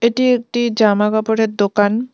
এটি একটি জামা কাপড়ের দোকান।